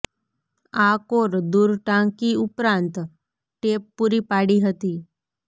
આ કોર દૂર ટાંકી ઉપરાંત ટેપ પૂરી પાડી હતી